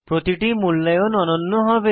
প্রতিটি মূল্যায়ন অনন্য হয়